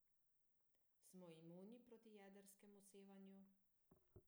Smo imuni proti jedrskemu sevanju?